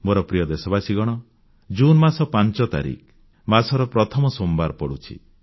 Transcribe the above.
ମୋର ପ୍ରିୟ ଦେଶବାସୀଗଣ ଜୁନ୍ ମାସ 5 ତାରିଖ ମାସର ପ୍ରଥମ ସୋମବାର ପଡ଼ୁଛି